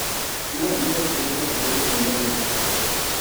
Ma miyowa thuolo mag somo ma malo moloyo.